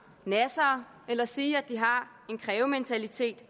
nassere eller at sige at de har en krævementalitet